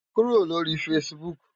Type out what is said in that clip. Kúró lóri fãsibúk